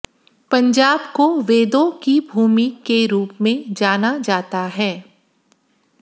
पंजाब को वेदों की भूमि के रूप में जाना जाता है